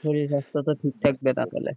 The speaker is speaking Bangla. শরীর স্বাস্থ তো ঠিক থাকবে না তাহলে,